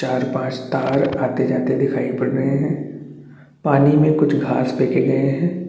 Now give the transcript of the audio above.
चार पांच तार आते जाते दिखाई दे रहे है पानी में खुछ घास दिख रहे है।